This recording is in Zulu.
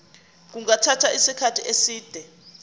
kungathatha isikhathi eside